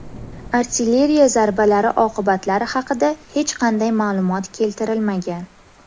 Artilleriya zarbalari oqibatlari haqida hech qanday ma’lumot keltirilmagan.